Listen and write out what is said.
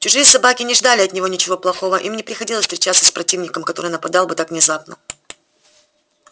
чужие собаки не ждали от него ничего плохого им не приходилось встречаться с противником который нападал бы так внезапно